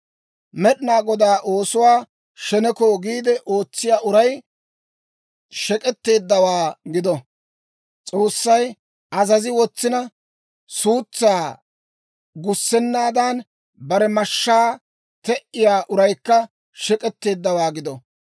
«Med'inaa Godaa oosuwaa sheneko giide ootsiyaa uray shek'k'etteeddawaa gido! S'oossay azazi wotsina, suutsaa gussennaadan bare mashshaa te"iyaa uraykka shek'k'etteeddawaa gido!